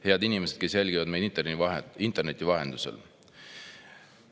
Head inimesed, kes jälgivad meid interneti vahendusel!